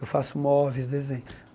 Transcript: Eu faço móveis, desenho.